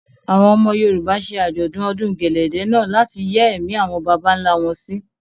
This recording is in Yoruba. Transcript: Àwọn ọmọ Yorùbá ṣe Àjọ̀dún ọdún gẹ̀lẹ̀dẹ̀ náà láti yẹ́ ẹ̀mí àwọn bàbà ńlá wọn sí.